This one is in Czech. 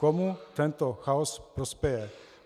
Komu tento chaos prospěje?